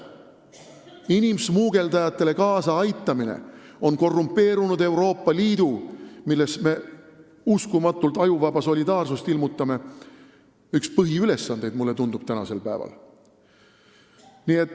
Mulle tundub, et inimsmugeldamisele kaasaaitamine on korrumpeerunud Euroopa Liidus, kus me uskumatult ajuvaba solidaarsust ilmutame, tänasel päeval üks põhiülesandeid.